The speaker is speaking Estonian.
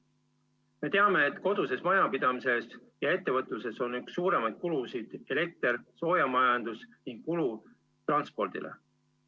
Me teame, et koduses majapidamises ja ettevõtluses on üks suuremaid kulusid elekter, soojamajandus ning kulu transpordile.